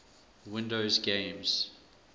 windows games